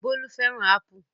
Bólú fẹ́ràn ápù